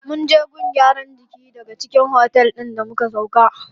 Munje gun gyaran jiki da ke cikin otel din da muka sauƙa.